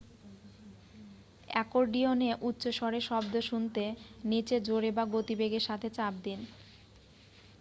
অ্যাকর্ডিয়নে উচ্চস্বরে শব্দ শুনতে নীচে জোরে বা গতিবেগের সাথে চাপ দিন